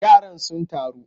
Yaran sun taru?